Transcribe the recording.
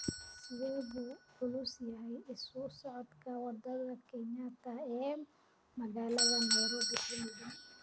sidee buu u culus yahay isu socodka wadada kenyatta ee magaalada nairobi xiligan